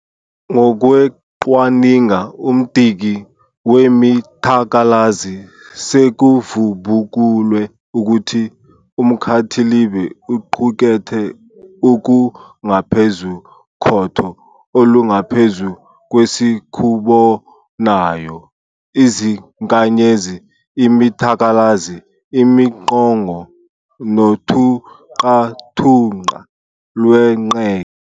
Ngokweqwaninga umdiki wemithalakazi, sekuvubukulwe ukuthi umkhathilibe uqukethe okungaphezu kotho olungaphezu kwesikubonayo, izinkanyezi, imithalakazi, imiqongo nothunqathunqa lwenqeke.